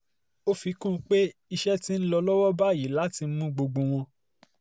ó fi kún un pé iṣẹ́ ti ń lọ lọ́wọ́ báyìí láti mú gbogbo wọn